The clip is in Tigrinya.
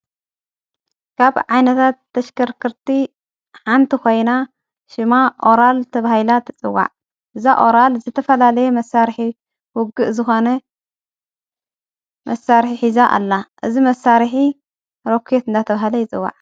ካብ ዓይነታት ተሽከርክርቲ ሓንቲ ኾይና ሽማ ኦራል ተብሂላ ተጽዋዕ እዛ ኦራል ዝተፈላለየ መሣርኂ ውግእ ዝኾነ መሣርሕ ሕእዛ ኣላ እዝ መሣርኂ ሮክየት እና ተብሃለ ይጽዋዕ፡፡